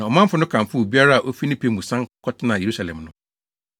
Na ɔmanfo no kamfoo obiara a ofi ne pɛ mu san kɔtenaa Yerusalem no.